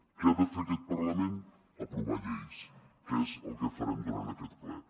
què ha de fer aquest parlament aprovar lleis que és el que farem durant aquest ple